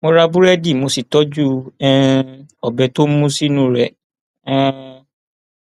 mo ra búrẹdì mo sì tọjú um ọbẹ tó mú sínú rẹ um